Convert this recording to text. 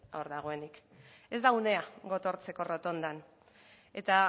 hor dagoenik ez da unea gotortzeko errotondan eta